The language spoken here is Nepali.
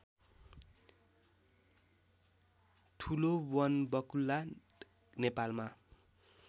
ठुलो वनबकुल्ला नेपालमा